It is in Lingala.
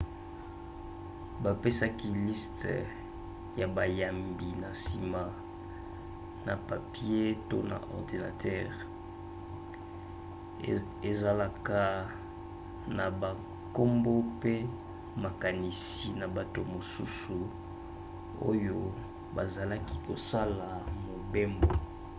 bapesaka liste ya bayambi na nsima na papie to na ordinatere ezalaka na bankombo mpe makanisi na bato mosusu oyo bazalaki kosala mobembo